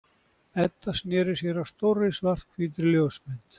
Edda sneri sér að stórri svarthvítri ljósmynd.